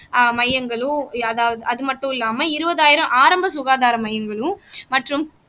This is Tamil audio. ஆஹ் மையங்களும் அதா அது மட்டும் இல்லாம இருபதாயிரம் ஆரம்ப சுகாதாரம் மையங்களும் மற்றும்